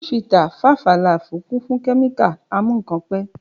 Ṣifítà, fàfà làfú kún fún kẹmika àmú kàn pẹ.